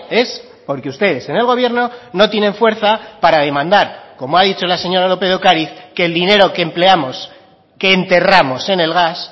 es porque ustedes en el gobierno no tienen fuerza para demandar como ha dicho la señora lópez de ocariz que el dinero que empleamos que enterramos en el gas